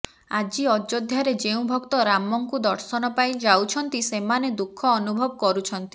ଆଜି ଅଯୋଧ୍ୟାରେ ଯେଉଁ ଭକ୍ତ ରାମଙ୍କୁ ଦର୍ଶନ ପାଇଁ ଯାଉଛନ୍ତି ସେମାନେ ଦୁଃଖ ଅନୁଭବ କରୁଛନ୍ତି